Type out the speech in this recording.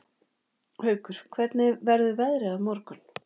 Haukur, hvernig verður veðrið á morgun?